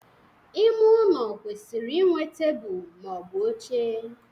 Ime ụlọ kwesịrị ịnwe tebụl ma ọ bụ oche